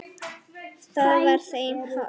Það var þeim hollt.